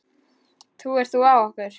Trúir þú á okkur?